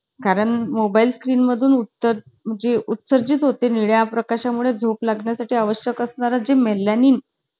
आह हां, तेव्हा मातीत खेळायला पण भेटायचं